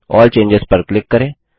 अल्ल चेंजों पर क्लिक करें